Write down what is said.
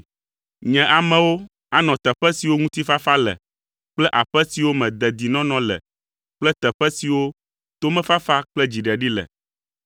Nye amewo anɔ teƒe siwo ŋutifafa le kple aƒe siwo me dedinɔnɔ le kple teƒe siwo tomefafa kple dziɖeɖi le.